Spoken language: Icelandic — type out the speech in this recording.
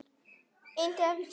Innt eftir: Hví?